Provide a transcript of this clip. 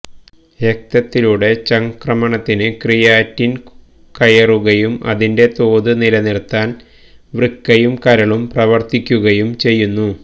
രക്തത്തിലൂടെ ചംക്രമണത്തിലേക്ക് ക്രിയാറ്റിനിന് കയറുകയും ഇതിന്റെ തോത് നിലനിര്ത്താന് വൃക്കയും കരളും പ്രവര്ത്തിക്കുകയും ചെയ്യുന്നു